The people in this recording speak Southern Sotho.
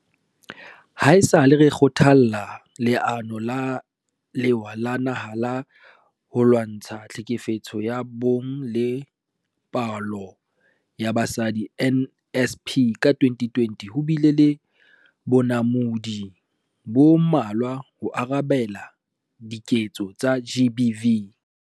Haesale re thakgola Leano la Lewa la Naha la ho Lwa ntsha Tlhekefetso ya Bong le Polao ya Basadi, NSP, ka 2020, ho bile le bonamodi bo mmalwa ho arabela diketso tsa GBV.